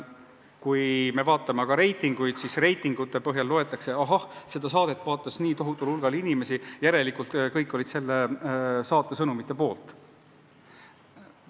" Kui me vaatame reitinguid, siis nende põhjal antakse teada, et seda või toda saadet vaatas nii tohutul hulgal inimesi, järelikult kõik olid selle saate sõnumite poolt.